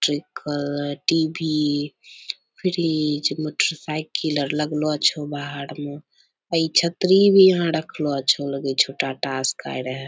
लिखल है TV. Fridge motorcycle आर लगलो छै बाहर में ए छतरी भी यहां रखलो छै लगे छै टाटा स्काई रहे।